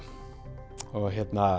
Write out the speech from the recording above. og